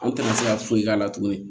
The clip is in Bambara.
An tɛna se ka foyi k'a la tuguni